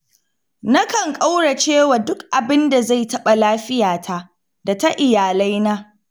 Nakan ƙaurace wa duk abin da zai taɓa lafiyata da ta iyalaina.